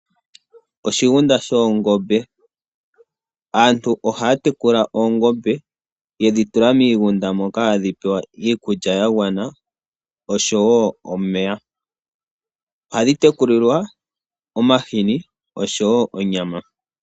Oshigunda shoongombe, aantu ohaya tekula oongombe yedhi tula miigunda moka hadhi pewa iikulya yagwana osho wo omeya. Ohadhi tekulilwa omahini osho wo onyama.